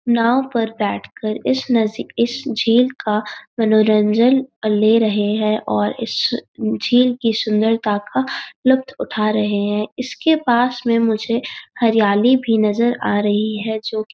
नाव पर बैठ कर इस नस इस झील का मनोरंजन ले रहे हैं और इस झील की सुंदरता का लुफ्त उटा रहे हैं इसके पास में मुझे हरयाली भी नजर आ रही है जोकि --